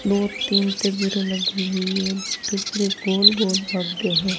दो तीन तजुरे लगी हुई है तजुरे गोल गोल पक गए हैं।